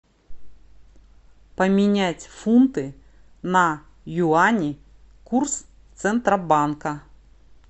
поменять фунты на юани курс центробанка